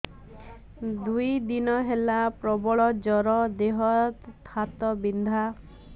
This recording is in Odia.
ଦୁଇ ଦିନ ହେଲା ପ୍ରବଳ ଜର ଦେହ ହାତ ବିନ୍ଧା